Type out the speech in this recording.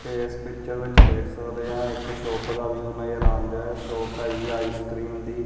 ਤੇ ਇਸ ਪਿਚਰ ਵਿੱਚ ਦੇਖ ਸਕਦੇ ਆਂ ਇੱਕ ਸ਼ੋਪ ਦਾ ਵਿਊ ਨਜ਼ਰ ਆਉਂਡਿਆਂ ਸ਼ੋਪ ਹੈਗੀ ਆਈਸਕ੍ਰੀਮ ਦੀ।